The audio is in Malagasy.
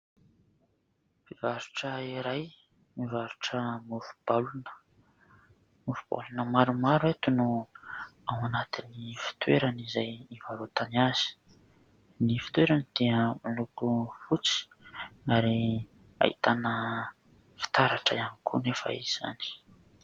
Mpivarotra iray mivarotra mofo baolina. Mofo baolina maromaro eto no ao anatin'ny fitoerany izay ivarotany azy. Ny fitoerany dia miloko fotsy ary ahitana fitaratra ihany koa anefa izany.